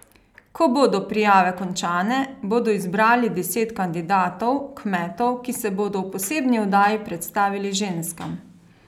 Ko bodo prijave končane, bodo izbrali deset kandidatov, kmetov, ki se bodo v posebni oddaji predstavili ženskam.